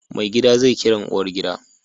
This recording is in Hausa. Maigida zai Kiran uwar gida